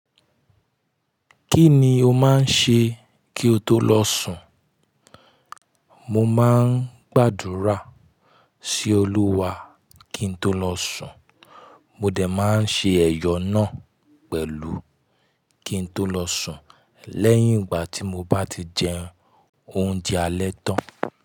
Kí ni o máa ń ṣe kí o tó lọ sùn? Mo máa ń gbàdúrà sí Olúwa kí n tó lọ sùn. Mo dẹ̀ máa ń ṣe ẹ̀yọ náà pẹ̀lú kí n tó lọ sùn lẹ́yìn ìgbà tí mo bá ti jẹ oúnjẹ alẹ́ tán.